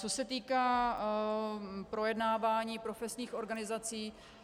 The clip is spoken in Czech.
Co se týká projednávání profesních organizací.